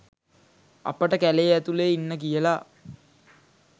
අපට කැලේ ඇතුලේ ඉන්න කියලා